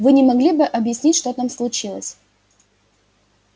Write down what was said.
вы не могли бы объяснить что там случилось